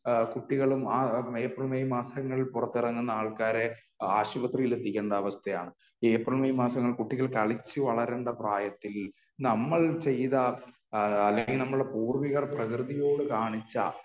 ആ കുട്ടികളും April May മാസങ്ങളിൽ പുറത്തിറങ്ങുന്ന ആൾക്കാരെ ആശുപത്രിയിൽ എത്തിക്കേണ്ട അവസ്ഥയാണ്. ഏപ്രിൽ മെയ് മാസത്തിൽ കളിച്ചു വളരേണ്ട പ്രായത്തിൽ നമ്മൾ ചെയ്ത അല്ലെങ്കിൽ നമ്മുടെ പൂർവികർ പ്രകൃതിയോട് കാണിച്ച